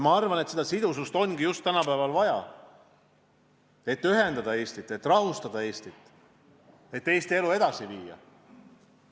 Ma arvan, et seda sidusust on tänapäeval vaja, et ühendada Eestit, et rahustada Eestit, et Eesti elu edasi viia.